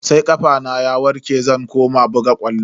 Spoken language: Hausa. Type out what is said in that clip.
Sai kafana ya warke zan koma buga ƙwallo.